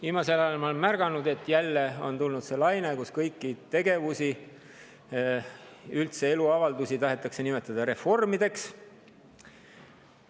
Viimasel ajal olen ma märganud, et jälle on tulnud see laine, et kõiki tegevusi, üldse eluavaldusi tahetakse nimetada reformideks.